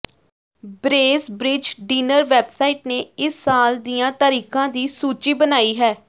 Bracebridge dinner website ਨੇ ਇਸ ਸਾਲ ਦੀਆਂ ਤਾਰੀਖਾਂ ਦੀ ਸੂਚੀ ਬਣਾਈ ਹੈ